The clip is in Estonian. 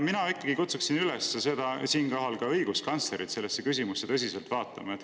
Mina kutsuksin siinkohal ka õiguskantslerit üles sellele küsimusele tõsiselt vaatama.